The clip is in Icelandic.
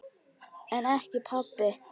En ekki pabbi.